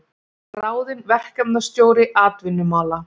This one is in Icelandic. Ráðinn verkefnisstjóri atvinnumála